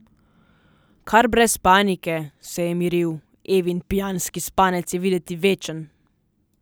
Kar brez panike, se je miril, Evin pijanski spanec je videti večen.